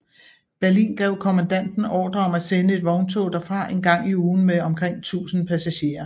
Berlin gav kommandanten ordre om at sende et vogntog derfra en gang i ugen med omkring tusinde passagerer